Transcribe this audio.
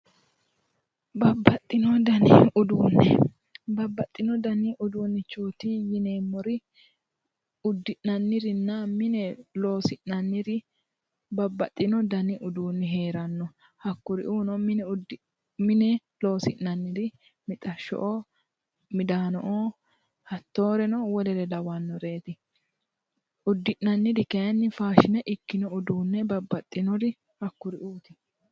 Babbaxxino dani uduunne babbaxxino dani uduunnichooti yineemmori uddi'nannirinna mine loosi'nanniri babbaxcino dani uduunni heeranno hakkuri'uuno mine loosi'nanniri mixasho'oo midaano'oo hattooreno wolere lawannoreeti uddi'nanniri kayinni faashine ikkino uduunne babbaxxinori hakkuri'uuti